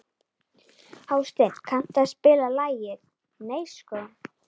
Hásteinn, kanntu að spila lagið „Nei sko“?